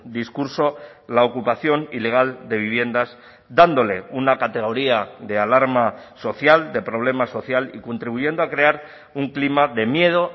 discurso la ocupación ilegal de viviendas dándole una categoría de alarma social de problema social y contribuyendo a crear un clima de miedo